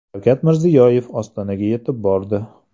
Shavkat Mirziyoyev Ostonaga yetib bordi .